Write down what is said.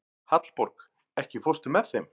Hallborg, ekki fórstu með þeim?